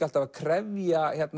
alltaf að krefja